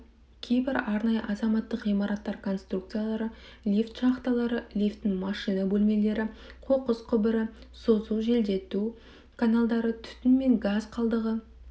кейбір арнайы азаматтық ғимараттар конструкциялары лифт шахталары лифттің машина бөлмелері қоқыс құбыры созу желдету каналдары түтін және газ қалдығы